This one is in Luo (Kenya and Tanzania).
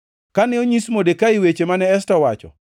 Kane onyis Modekai weche mane Esta owacho,